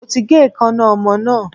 Mo ti gé eekańná ọmọ náà.